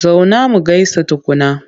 Zauna mu gaisa tukunna!